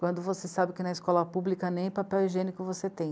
Quando você sabe que na escola pública nem papel higiênico você tem.